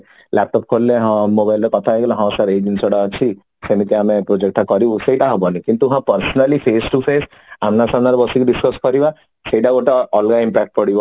laptop ଖୋଲିଲେ ହଁ mobile ରେ ହଁ କଥା ହେଇଗଲେ ହଁ ସିର ଏଇ ଜିନିଷ ଟା ଅଛି ସେମିତି ଆମେ project ଟା କରିବୁ ସେଟା ହବନି କିନ୍ତୁ ହଁ personally face to face ଆମ୍ନାସାମ୍ନା ରେ ବସିକି discus କରିବା ତାର ଗୋଟେ ଅଲଗା impact ପଡିବ